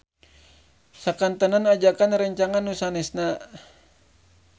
Sakantenan ajakan rerencangan nu sanesna.